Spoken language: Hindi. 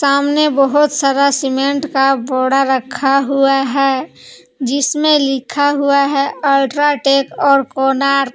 सामने बहुत सारा सीमेंट का बोरा रखा हुआ है जिसमें लिखा हुआ है अल्ट्राटेक और कोणार्क ।